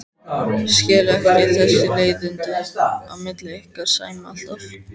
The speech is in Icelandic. Skil ekki þessi leiðindi á milli ykkar Sæma alltaf.